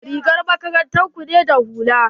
Rigar makarantar ku na da hula?